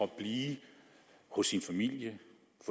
blive hos sin familie